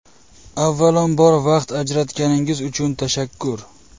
Avvalambor, vaqt ajratganingiz uchun tashakkur!